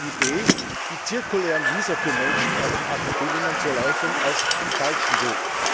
Daher halte ich die Idee, die zirkulären Visa für Menschen aus den AKP Ländern zu erleichtern, für den falschen Weg.